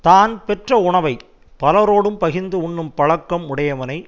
தான் பெற்ற உணவை பலரோடும் பகிர்ந்து உண்ணும் பழக்கம் உடையவனை